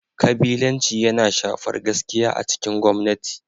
Kabilanci yana shafar gaskiya a cikin gwamnati.